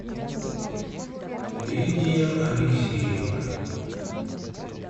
лидия алексеевна